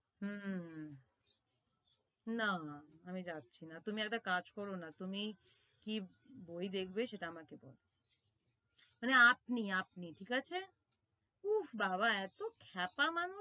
হুম না আমি যাচ্ছিনা তুমি একটা কাজ করো না তুমি কি বই দেখবে সেটা আমাকে বলো মানে আপনি আপনি ঠিক আছে উফ্ফ বাওয়াহ এতো খ্যাপা মানুষ